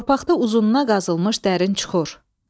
Torpaqda uzununa qazılmış dərin çuxur.